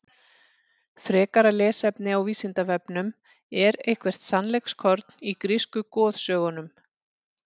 Frekara lesefni á Vísindavefnum: Er eitthvert sannleikskorn í grísku goðsögunum?